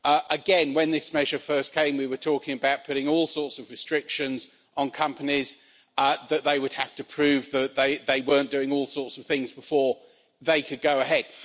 Again, when this measure first came, we were talking about putting all sorts of restrictions on companies so that they would have to prove that they weren't doing all sorts of things before they could go ahead.